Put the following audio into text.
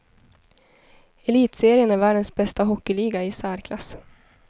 Elitserien är världens bästa hockeyliga, i särklass.